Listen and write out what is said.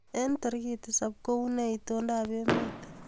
Eng tarik tisab kounee itondoab emet